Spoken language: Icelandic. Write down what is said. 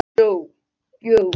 Hnéð góða rís upp úr djúp